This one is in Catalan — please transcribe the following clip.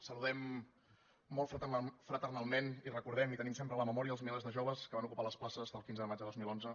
saludem molt fraternalment i recordem i tenim sempre a la memòria els milers de joves que van ocupar les places el quinze de maig de dos mil onze